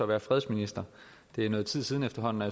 være fredsminister det er noget tid siden efterhånden og